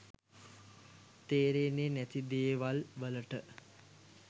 තේරෙන්නේ නැති දේවල් වලට